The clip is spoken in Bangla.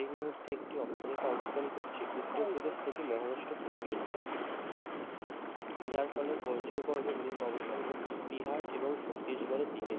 এই মুহূর্তে একটি অক্ষরেখা অবস্থান করছে উত্তরপ্রদেশ থেকে মহারাষ্ট্র পর্যন্ত যার ফলে বজ্রগর্ভ মেঘ অবস্থান করছে বিহার এবং ছত্তিশগড়ের দিকে